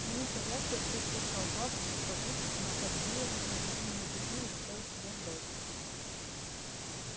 сменить повязку отереть пот со лба взбить подушки помахать веером и объяснение в любви не заставит себя ждать